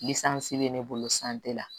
bɛ ne bolo la